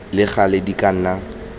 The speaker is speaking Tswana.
le gale di ka nna